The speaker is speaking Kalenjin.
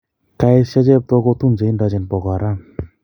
kaesyo cheptoo kotun che indochin pokoaaram